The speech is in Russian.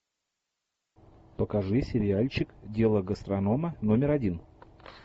покажи сериальчик дело гастронома номер один